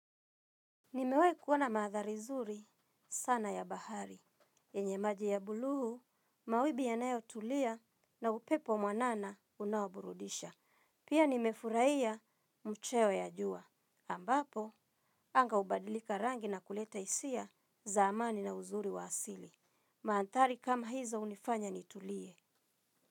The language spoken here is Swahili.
Nimewahi kuona maandhari zuri sana ya bahari. Yenye maji ya blue mawimbi yanayo tulia na upepo mwanana unaoburudisha. Pia nimefurahia mcheo ya jua. Ambapo, anga hubadilika rangi na kuleta hisia za amani na uzuri wa asili. Maanthari kama hizo hunifanya nitulie.